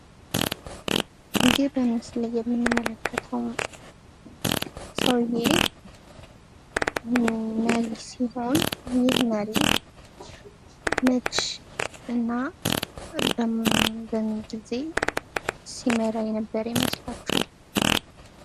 እዚህ በምስሉ ላይ የምንመለከተው ሰውዬ መሪ ሲሆን ይህ መሪ መች እና በማን ጊዜ ሲመራ የነበረ ይመስላችኋል?